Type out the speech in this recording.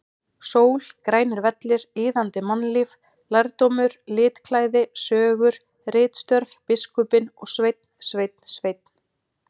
Sól, grænir vellir, iðandi mannlíf, lærdómur, litklæði, sögur, ritstörf, biskupinn og Sveinn, Sveinn, Sveinn!!!